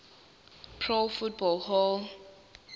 pro football hall